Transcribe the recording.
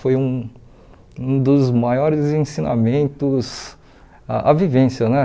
Foi um um dos maiores ensinamentos, a a vivência, né?